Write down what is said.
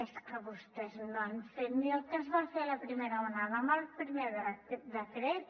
és que vostès no han fet ni el que es va fer a la primera onada amb el primer decret